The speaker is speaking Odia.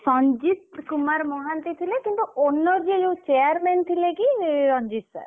ସଂଜିତ୍ କୁମାର୍ ମହାନ୍ତି ଥିଲେ କିନ୍ତୁ owner ଯିଏ ଯୋଉ chairman ଥିଲେ କି ରଞ୍ଜିତ୍ sir